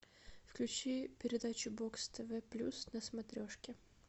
включи передачу бокс тв плюс на смотрешке